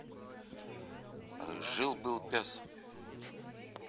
жил был пес